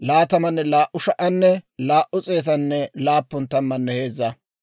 Med'inaa Goday Musa k'aykka hawaadan yaageedda;